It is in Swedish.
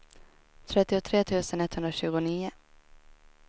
trettiotre tusen etthundratjugonio